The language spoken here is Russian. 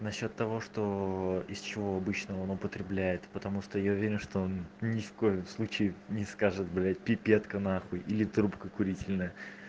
насчёт того что из чего обычно он употребляет потому что я уверен что он ни в коем случае не скажет блять пипетка нахуй или трубка курительная